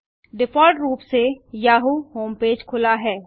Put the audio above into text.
default रूप से Yahoo homepage खुला है